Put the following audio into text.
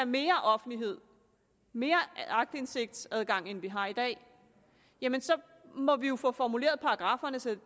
mere offentlighed mere aktindsigtsadgang end vi har i dag jamen så må vi jo få formuleret paragrafferne så